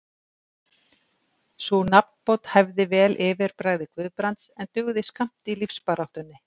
Sú nafnbót hæfði vel yfirbragði Guðbrands, en dugði skammt í lífsbaráttunni.